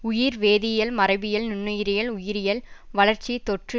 உயிர் வேதியல் மரபியில் நுண்ணுயிரியல் உயிரியல் வளர்ச்சி தொற்று